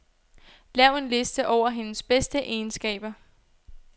Lav en liste over hendes bedste egenskaber.